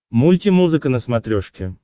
мульти музыка на смотрешке